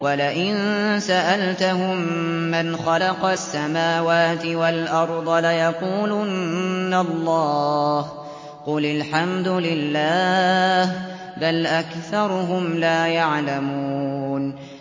وَلَئِن سَأَلْتَهُم مَّنْ خَلَقَ السَّمَاوَاتِ وَالْأَرْضَ لَيَقُولُنَّ اللَّهُ ۚ قُلِ الْحَمْدُ لِلَّهِ ۚ بَلْ أَكْثَرُهُمْ لَا يَعْلَمُونَ